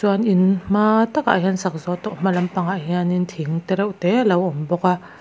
an in hmaaa takah hian sak zawh tawh hmalam ah hian thing te reuhte lo awm bawk a.